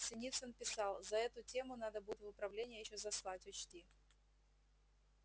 синицын писал за эту тему надо будет в управление ещё заслать учти